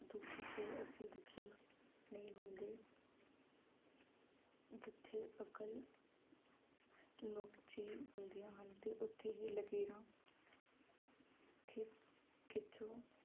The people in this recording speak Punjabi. ਦੁੱਖ ਕੇ ਅਸੀਂ ਦੁੱਖੀ ਨਹੀਂ ਹੁੰਦੇ ਜਿੱਥੇ ਅਕਲ ਨੁਕਚੀ ਹੁੰਦੀਆਂ ਹਨ ਤੇ ਉੱਥੇ ਹੀ ਲਕੀਰਾਂ ਖਿ ਖਿੱਚੋ